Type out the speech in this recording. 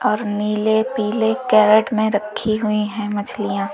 और नीले पीले कैरेट में रखी हुई हैं मछलियां।